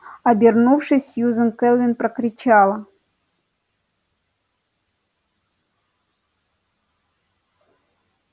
обернувшись сьюзен кэлвин прокричала